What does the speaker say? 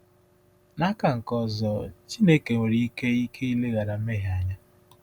N’aka nke ọzọ, Chineke nwere ike ike ileghara mmehie anya.